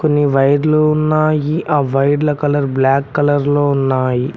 వైర్లు ఉన్నాయి ఆ వైర్ల కలర్ బ్లాక్ కలర్ లో ఉన్నాయి.